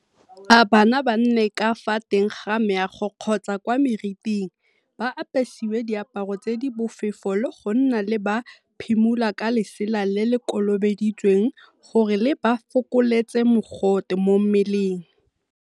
A bana ba nne ka fa teng ga meago kgotsa kwa meriting, ba apesiwe diaparo tse di bofefo le go nna le ba phimola ka lesela le le kolobeditsweng gore le ba fokoletse mogote mo mmeleng.